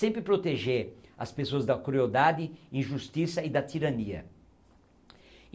Sempre proteger as pessoas da crueldade, injustiça e da tirania.